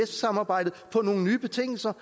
samarbejdet på nogle nye betingelser